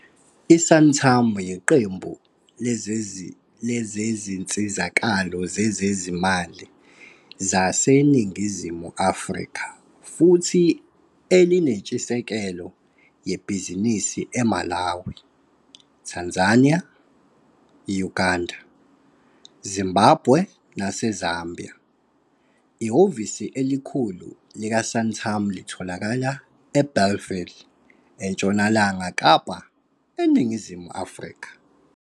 I-Santam yiqembu lezinsizakalo zezezimali zaseNingizimu Afrika futhi elinentshisekelo yebhizinisi eMalawi, Tanzania, Uganda, Zimbabwe naseZambia. Ihhovisi elikhulu likaSantam litholakala eBellville eNtshonalanga Kapa, eNingizimu Afrika.